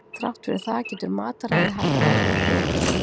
Þrátt fyrir það getur mataræði haft áhrif á blóðfituna.